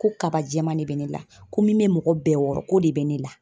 Ko kaba jɛman de bɛ ne la, ko min bɛ mɔgɔ bɛɛ wɔɔrɔ ko de bɛ ne la.